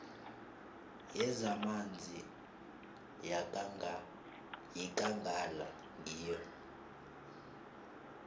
yezamanzi yekangala ngiyo